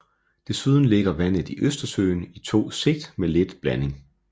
Desuden ligger vandet i Østersøen i to sigt med lidt blanding